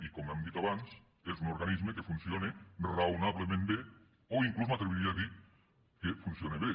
i com hem dit abans és un organisme que funciona raonablement bé o inclús m’atreviria a dir que funciona bé